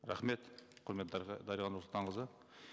рахмет құрметті дариға нұрсұлтанқызы